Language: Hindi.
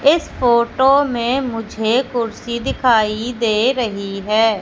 इस फोटो में मुझे कुर्सी दिखाई दे रही है।